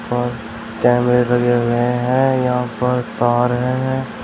कैमरे लगे हुए हैं यहां पर तार हैं।